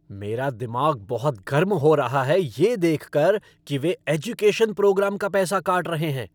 मेरा दिमाग बहुत गर्म हो रहा है ये देख कर कि वे एजुकेशन प्रोग्राम का पैसा काट रहे हैं।